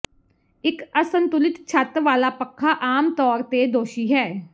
ਇੱਕ ਅਸੰਤੁਲਿਤ ਛੱਤ ਵਾਲਾ ਪੱਖਾ ਆਮ ਤੌਰ ਤੇ ਦੋਸ਼ੀ ਹੈ